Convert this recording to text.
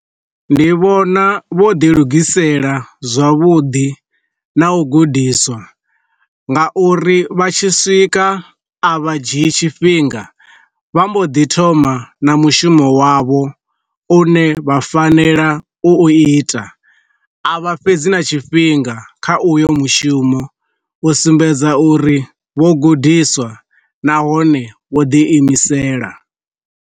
Ndi vhona vho ḓi lugisela zwavhuḓi na u gudiswa nga uri vha tshi swika, a vha dzhi i tshifhinga vha mbo ḓi thoma na mushumo wavho u ne vha fanela u ita a vha fhedzi na tshifhinga kha uyo mushumo u sumbedza uri vho gudiswa nahone vho ḓi imisela.